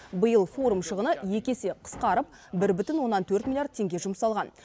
биыл форум шығыны екі есе қысқарып бір бүтін оннан төрт миллиард теңге жұмсалған